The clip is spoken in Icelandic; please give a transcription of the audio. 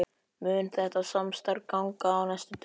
Mun þetta samstarf ganga á næstu dögum?